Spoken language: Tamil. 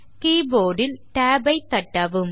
கீபோர்ட் இல் tab ஐ தட்டவும்